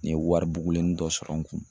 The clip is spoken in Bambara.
N ye wari bugulennin dɔ sɔrɔ n kun.